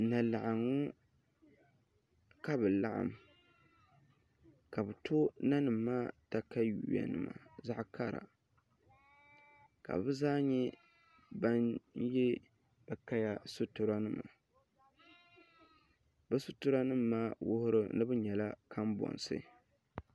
N nyɛ laɣangu ka bi laɣam ka bi to nanim maa katawiya nima zaɣ kara ka bi zaa nyɛ ban yɛ bi kaya sitira nima bi sitira nim maa wuhuri ni bi nyɛla kanbonsi